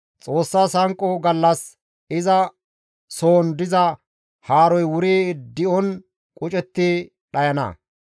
Xoossas hanqo gallas iza soon diza haaroy wuri di7on qucetti dhayana.